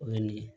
O ye nin ye